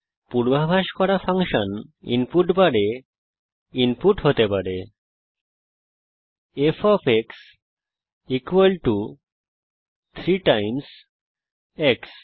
পূর্বাভাস করা function input বারে f 3 x হিসাবে ইনপুট হতে পারে